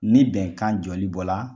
Ni bɛnkan jɔli bɔ la